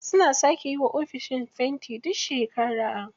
Suna sake yiwa ofishin fenti duk shekara.